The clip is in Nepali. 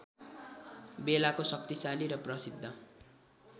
बेलाको शक्तिशाली र प्रसिद्ध